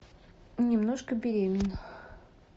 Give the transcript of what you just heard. немножко беременна